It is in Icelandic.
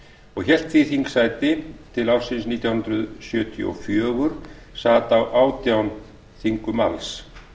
og hélt því þingsæti til ársins nítján hundruð sjötíu og fjögur sat á átján þingum alls